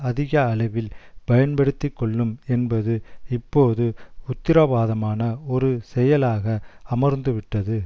அதிக அளவில் பயன்படுத்திக்கொள்ளும் என்பது இப்போது உத்திரவாதமான ஒரு செயலாக அமர்ந்துவிட்டது